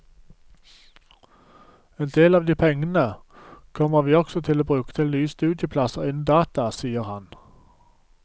En del av de pengene kommer vi også til å bruke til nye studieplasser innen data, sier han.